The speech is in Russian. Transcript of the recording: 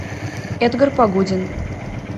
эдгар погодин